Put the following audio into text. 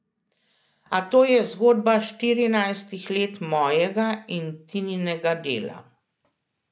A to je zgodba štirinajstih let mojega in Tininega dela.